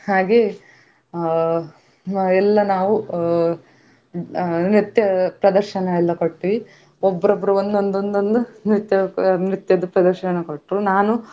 ಹಾಗೆ ಅಹ್ ಎಲ್ಲ ನಾವು ಅಹ್ ಅಹ್ ನೃತ್ಯ ಪ್ರದರ್ಶನ ಎಲ್ಲ ಕೊಟ್ವಿ ಒಬ್ಬೊಬ್ರು ಒಂದೊಂದು ನೃತ್ಯದ್ದು ಪ್ರದರ್ಶನ ಕೊಟ್ರು ನಾನು.